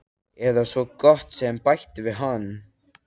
Eða svo gott sem- bætti hann við.